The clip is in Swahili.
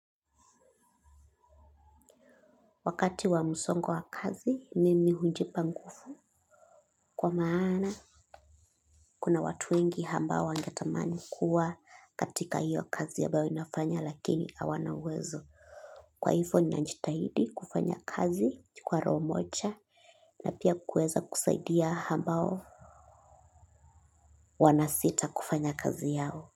Wakati wa msongo wa kazi, mimi hujipa nguvu. Kwa maana, kuna watu wengi hambao wangetamani kuwa katika hiyo kazi ambayo inafanya lakini hawana uwezo. Kwa hivo najitahidi kufanya kazi kwa roho moja na pia kuweza kusaidia hambao wanasita kufanya kazi yao.